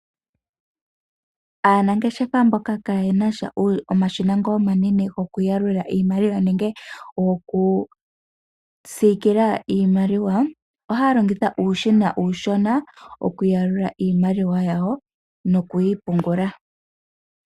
Aanangeshefa mboka kaaye na sha omashina ngoka omanene gokuyalula iimaliwa nenge gokusikila iimaliwa, ohaya longitha uushina uushona okuyalula iimaliwa yawo noku yi pungula.